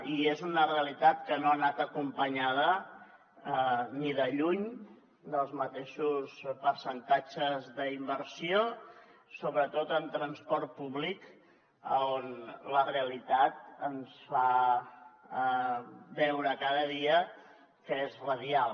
i és una realitat que no ha anat acompanyada ni de lluny dels mateixos percentatges d’inversió sobretot en transport públic on la realitat ens fa veure cada dia que és radial